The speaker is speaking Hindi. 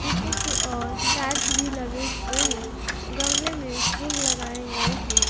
पीछे की ओर टाइल्स भी लगे हुए हैं गमले में फूल लगाए गए हैं।